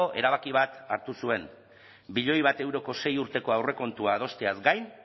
erabaki bat hartu zuen milioi bat euroko sei urteko aurrekontua adosteaz gain